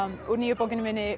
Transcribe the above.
úr nýju bókinni minni